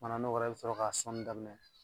Kumana n'o kɛra i be sɔrɔ k'a sɔnni daminɛ.